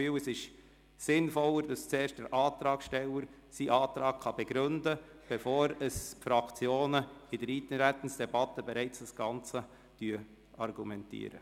Ich finde es auch sinnvoller, wenn der Antragsteller zuerst seinen Antrag begründen kann, bevor die Fraktionen in der Eintretensdebatte ihre Argumente vortragen.